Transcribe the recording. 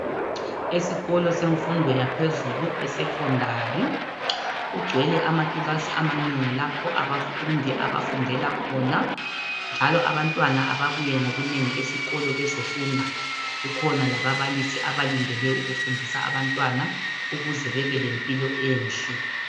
Esikolo semfundo yaphezulu esekhondari kugcwele lamakilasi amanengi lapho abafundi abafundela khona njalo abantwana ababuye ngobunengi esikolo bezofunda. Kukhona lababalisi abalindele ukufundisa abantwana ukuze babe lempilo enhle.